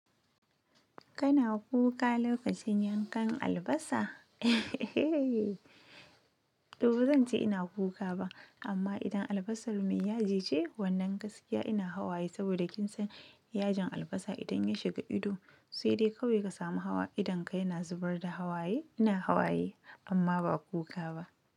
Kana kuka lokacin yankan albasa? To bazan ce ina kuka ba, amma idan albasar mai yaji ce wannan gaskiya ina hawaye saboda kin san yajin albasa idan ya shiga ido sai dai kawai ka samu hawa idonka yana zubar da hawaye. Ina hawaye amma ba kuka ba.